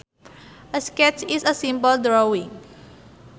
A sketch is a simple drawing